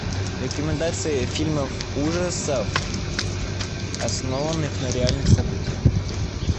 рекомендации фильмов ужасов основанных на реальных событиях